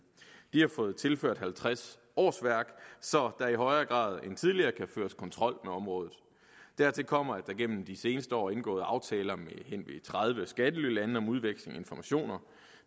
de har fået tilført halvtreds årsværk så der i højere grad end tidligere kan føres kontrol med området dertil kommer at der igennem de seneste år er indgået aftaler med hen ved tredive skattelylande om udveksling af informationer